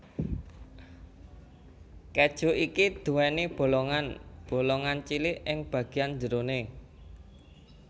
Keju iki duwéni bolongan bolongan cilik ing bagian jeroné